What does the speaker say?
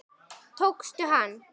Tókstu hann?